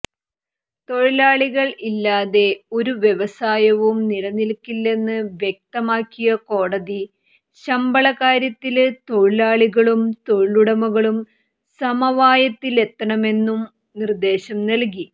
തൊഴിലാളികൾ ഇല്ലാതെ ഒരു വ്യവസായവും നിലനിൽക്കില്ലെന്ന് വ്യക്തമാക്കിയ കോടതി ശമ്പളകാര്യത്തില് തൊഴിലാളികളും തൊഴിലുടമകളും സമവായത്തിലെത്തണമെന്നും നിര്ദ്ദേശം നല്കി